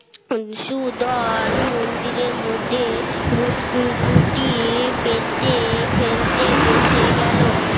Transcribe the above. Sudan মন্দিরের মধ্যে ঘুটি পেতে খেলতে বসে গেল